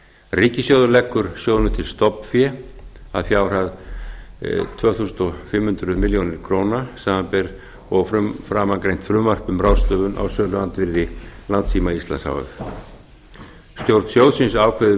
ríkissjóður leggur sjóðnum til stofnfé að fjárhæð tvö þúsund fimm hundruð milljóna króna samanber framangreint frumvarp um ráðstöfun á söluandvirði landssíma íslands h f stjórn sjóðsins ákveður